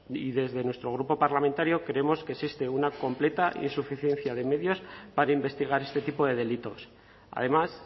y desde nuestro grupo parlamentario creemos que existe una completa insuficiencia de medios para investigar este tipo de delitos además